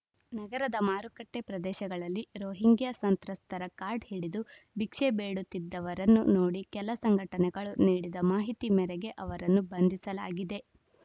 ನಗರದ ಮಾರುಕಟ್ಟೆಪ್ರದೇಶಗಳಲ್ಲಿ ರೋಹಿಂಗ್ಯ ಸಂತ್ರಸ್ತರ ಕಾರ್ಡ್‌ ಹಿಡಿದು ಭಿಕ್ಷೆ ಬೇಡುತ್ತಿದ್ದವರನ್ನು ನೋಡಿ ಕೆಲ ಸಂಘಟನೆಗಳು ನೀಡಿದ ಮಾಹಿತಿ ಮೇರೆಗೆ ಅವರನ್ನು ಬಂಧಿಸಲಾಗಿದೆ